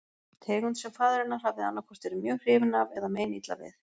Tegund sem faðir hennar hafði annaðhvort verið mjög hrifinn af eða meinilla við.